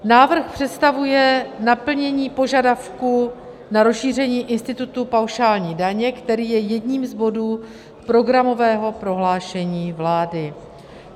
Návrh představuje naplnění požadavku na rozšíření institutu paušální daně, který je jedním z bodů programového prohlášení vlády.